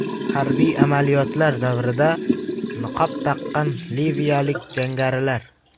Harbiy amaliyotlar davrida niqob taqqan liviyalik jangarilar.